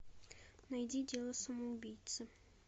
найди дело самоубийцы